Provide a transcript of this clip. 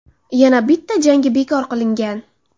Yana bitta jangi bekor qilingan.